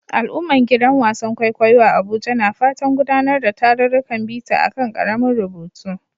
Al'ummar gidan wasan kwaikwayo a Abuja na fatan gudanar da tarurrukan bita a kan karamin rubutu